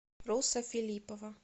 руса филиппова